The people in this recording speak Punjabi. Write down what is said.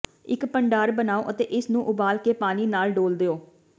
ਇੱਕ ਭੰਡਾਰ ਬਣਾਉ ਅਤੇ ਇਸਨੂੰ ਉਬਾਲ ਕੇ ਪਾਣੀ ਨਾਲ ਡੋਲ੍ਹ ਦਿਓ